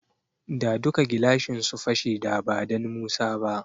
Da duka gilashin su fashe da badan Musa ba.